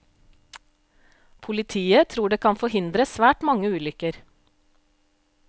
Politiet tror det kan forhindre svært mange ulykker.